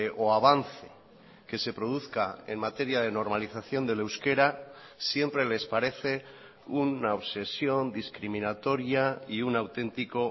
o avance que se produzca en materia de normalización del euskera siempre les parece una obsesión discriminatoria y un auténtico